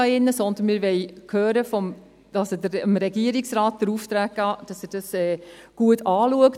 wir wollen hören, also dem Regierungsrat den Auftrag geben, dass er dies gut anschaut.